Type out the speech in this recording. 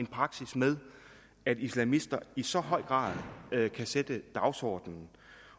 praksis med at islamister i så høj grad kan sætte dagsordenen